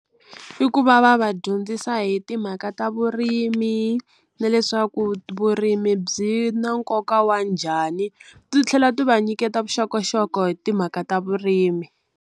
I ku va va va dyondzisa hi timhaka ta vurimi na leswaku vurimi byi na nkoka wa njhani titlhela ti va nyiketa vuxokoxoko hi timhaka ta vurimi.